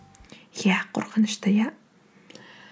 иә қорқынышты иә